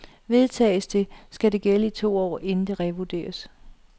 Vedtages det, skal det gælde i to år, inden det revurderes.